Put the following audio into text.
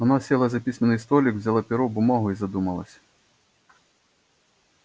она села за письменный столик взяла перо бумагу и задумалась